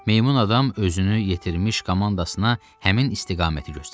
Meymun adam özünü yetirmiş komandasına həmin istiqaməti göstərdi.